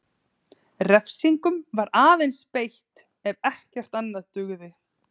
Refsingum var aðeins beitt ef ekkert annað dugði.